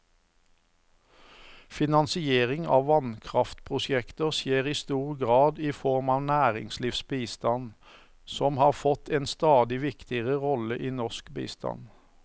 Finansiering av vannkraftprosjekter skjer i stor grad i form av næringslivsbistand, som har fått en stadig viktigere rolle i norsk bistand.